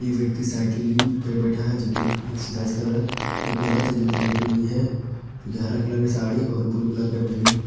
एक व्यक्ति साइकिलिंग पे बैठा हुआ जो कि एक्सरसाइज़ की रहा है एक औरत है जो कि लेती हुई है जो की हरा कलर की साड़ी और ब्लू कलर की पहनी--